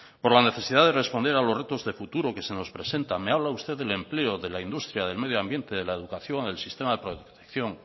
por la necesidad de responder a los retos de futuro que se nos presentan me habla usted del empleo de la industria del medioambiente de la educación el sistema de protección